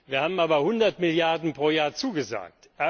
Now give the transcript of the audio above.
Wir haben aber 100 Milliarden Euro pro Jahr zugesagt.